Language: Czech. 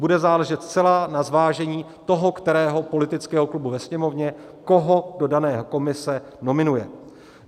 Bude záležet zcela na zvážení toho kterého politického klubu ve Sněmovně, koho do dané komise nominuje.